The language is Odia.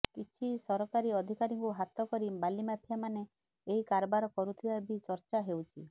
କିଛି ସରକାରୀ ଅଧିକାରୀଙ୍କୁ ହାତ କରି ବାଲି ମାଫିଆ ମାନେ ଏହି କାରବାର କରୁଥିବା ବି ଚର୍ଚ୍ଚା ହେଉଛି